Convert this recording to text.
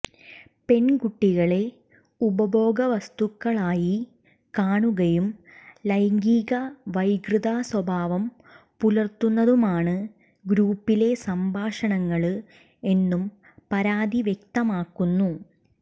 പെണ്കുട്ടികളെ ഉപഭോഗ വസ്തുക്കളായി കാണുകയും ലൈംഗിക വൈകൃത സ്വഭാവം പുലര്ത്തുന്നതുമാണ് ഗ്രൂപ്പിലെ സംഭാഷണങ്ങള് എന്നും പരാതി വ്യക്തമാക്കുന്നു